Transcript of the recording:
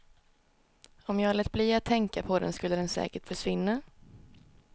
Om jag lät bli att tänka på den skulle den säkert försvinna.